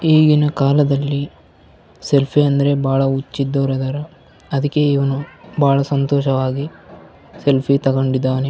ಈಗಿನ ಕಾಲದಲ್ಲಿ ಸೆಲ್ಫಿ ಅಂದ್ರೆ ಬಹಳ ಹುಚ್ಚು ಎದ್ದವ್ರಿದ್ದಾರ ಅದಕ್ಕೆ ಇವನು ಬಾಳ ಸಂತೋಷವಾಗಿ ಸೆಲ್ಫಿ ತಕೊಂಡಿದ್ದಾನೆ.